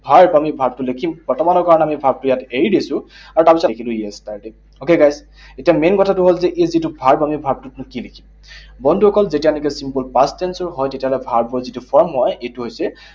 Verb, আমি verb টো লিখিম। বৰ্তমানৰ কাৰণে আমি verb টো এৰি দিছো। আৰু তাৰপিছত এইটো yesterday, okay, guys? এতিয়া main কথাটো হল যে এই যিটো verb, আমি verb টোত নো কি লিখিম? বন্ধুসকল, যেতিয়া এনেকৈ simple past tense ৰ হয়, তেতিয়াহলে verb ৰ যিটো form হয়, সেইটো হৈছে